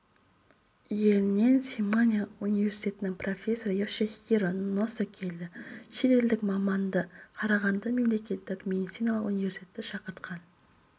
елінен симанэ университетінің профессоры йошихиро носо келді шет елдік маманды қарағанды мемлекеттік медициналық университеті шақыртқан